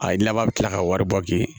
A ye laban bɛ kila ka wari bɔ k'i